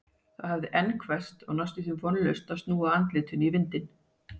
Það hafði enn hvesst og næstum því vonlaust að snúa andlitinu í vindinn.